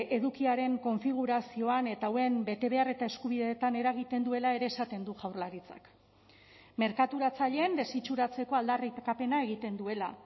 edukiaren konfigurazioan eta hauen betebehar eta eskubideetan eragiten duela ere esaten du jaurlaritzak merkaturatzaileen desitxuratzeko aldarrikapena egiten duela